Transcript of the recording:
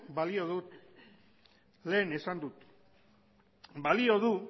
balio du lehen esan dut balio du